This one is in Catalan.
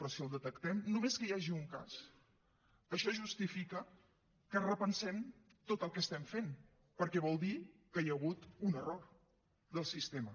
però si el detectem només que hi hagi un cas això justifica que repensem tot el que estem fent perquè vol dir que hi ha hagut un error del sistema